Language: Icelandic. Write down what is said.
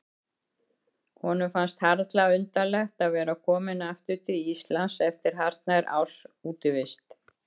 Honum fannst harla undarlegt að vera kominn aftur til Íslands eftir hartnær árs útivist.